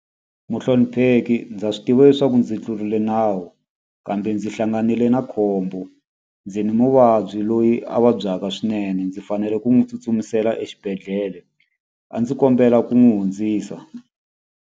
Muhlonipheki ndza swi tiva leswaku ndzi tlurile nawu, kambe ndzi hlanganile na khombo. Ndzi ni muvabyi loyi a vabyaka swinene, ndzi fanele ku n'wi tsutsumisela xibedhlele. A ndzi kombela ku n'wi hundzisa.